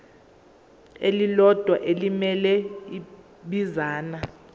elilodwa elimele ibinzana